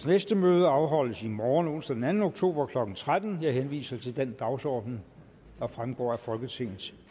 næste møde afholdes i morgen onsdag den anden oktober klokken tretten jeg henviser til den dagsorden der fremgår af folketingets